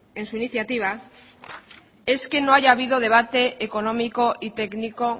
en su iniciativa es que no haya habido debate económico y técnico